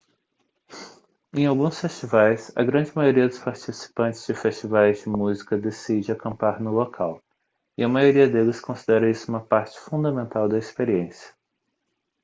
em alguns festivais a grande maioria dos participantes de festivais de música decide acampar no local e a maioria deles considera isso uma parte fundamental da experiência